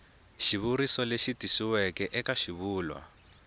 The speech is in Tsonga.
xivuriso lexi tikisiweke eka xivulwa